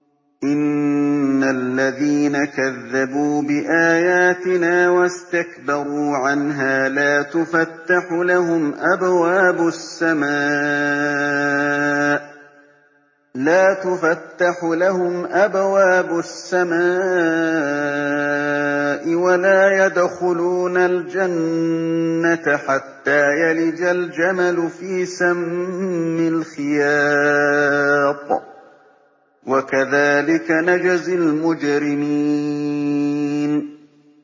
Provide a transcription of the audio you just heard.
إِنَّ الَّذِينَ كَذَّبُوا بِآيَاتِنَا وَاسْتَكْبَرُوا عَنْهَا لَا تُفَتَّحُ لَهُمْ أَبْوَابُ السَّمَاءِ وَلَا يَدْخُلُونَ الْجَنَّةَ حَتَّىٰ يَلِجَ الْجَمَلُ فِي سَمِّ الْخِيَاطِ ۚ وَكَذَٰلِكَ نَجْزِي الْمُجْرِمِينَ